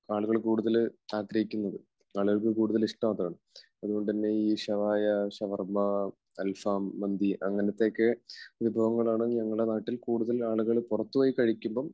ആളുകൾ കൂടുതൽ ആഗ്രഹിക്കുന്നത്. ആളുകൾക്ക് കൂടുതൽ ഇഷ്ടം അതാണ്. അതുകൊണ്ടുതന്നെ ഈ ഷവായ, ഷവർമ, അൽഫാം, മന്തി അങ്ങനത്തെയൊക്കെ വിഭവങ്ങളാണ് ഞങ്ങളുടെ നാട്ടിൽ കൂടുതൽ ആളുകൾ പുറത്തുപോയി കഴിക്കുമ്പോൾ